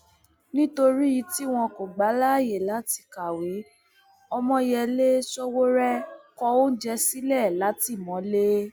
nítorí tí wọn kò gbà á láyè láti kàwé ọmoyèlé sowore kọ oúnjẹ sílẹ látìmọlé